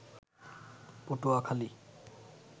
Patuakhali